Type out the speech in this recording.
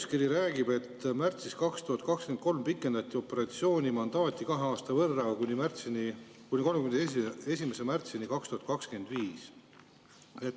Seletuskiri räägib, et märtsis 2023 pikendati operatsiooni mandaati kahe aasta võrra, kuni 31. märtsini 2025.